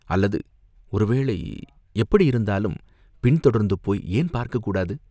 அல்லது ஒரு வேளை, எப்படியிருந்தாலும், பின் தொடர்ந்து போய் ஏன் பார்க்கக் கூடாது